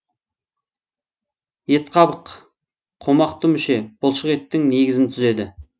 етқабық қомақты мүше бұлшық еттің негізін түзеді